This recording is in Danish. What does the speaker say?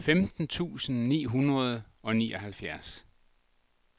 femten tusind ni hundrede og nioghalvfjerds